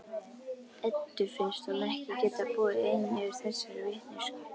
Eddu finnst hún ekki geta búið ein yfir þessari vitneskju.